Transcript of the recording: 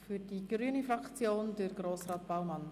Für die grüne Fraktion spricht Grossrat Baumann.